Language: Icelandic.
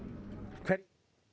hverjir